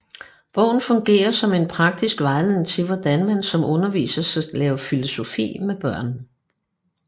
Bogen fungerer som en praktisk vejledning til hvordan man som underviser skal lave filosofi med børn